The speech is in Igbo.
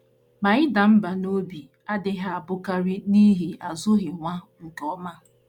Ma ịda mbà n’obi adịghị abụkarị n’ihi azụghị nwa nke ọma.